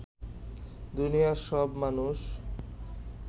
দুনিয়ার সব মানুষ